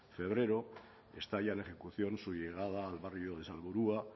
febrero está ya en ejecución su llegada al barrio de salburua